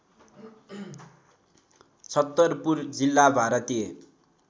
छत्तरपुर जिल्ला भारतीय